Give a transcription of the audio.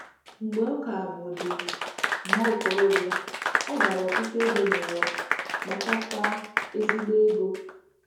Mgbe ọ ka bụdị nwa okorobịa, ọ gara ọtụtụ ebe n’ụwa, kpatakwa ezigbo ego.